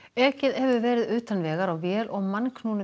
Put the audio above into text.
ekið hefur verið utan vegar á vél og